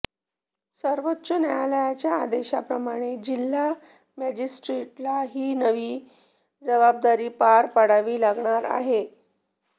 सर्वोच्च न्यायालयाच्या आदेशाप्रमाणे जिल्हा मॅजेस्ट्रीटला ही नवी जबाबदारी पार पाडावी लागणार आहे